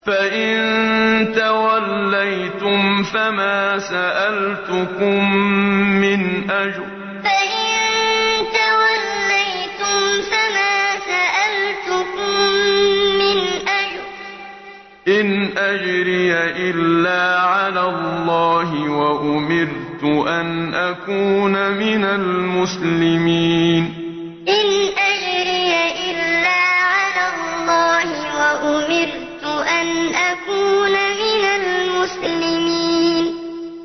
فَإِن تَوَلَّيْتُمْ فَمَا سَأَلْتُكُم مِّنْ أَجْرٍ ۖ إِنْ أَجْرِيَ إِلَّا عَلَى اللَّهِ ۖ وَأُمِرْتُ أَنْ أَكُونَ مِنَ الْمُسْلِمِينَ فَإِن تَوَلَّيْتُمْ فَمَا سَأَلْتُكُم مِّنْ أَجْرٍ ۖ إِنْ أَجْرِيَ إِلَّا عَلَى اللَّهِ ۖ وَأُمِرْتُ أَنْ أَكُونَ مِنَ الْمُسْلِمِينَ